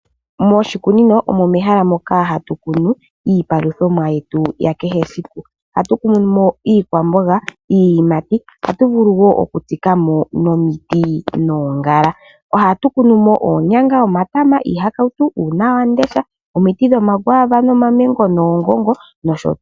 Moshikunino omo hatu kunu iipaluthomwa yetu yakehe esku. Ohatu kunu mo iikwamboga niiyimati. Ohatu vulu wo okutsikamo nomiti noongala. Ohatu kunu mo oonyanga, omatama, iihakautu omuti dho. akwaava nomamango nosho tuu.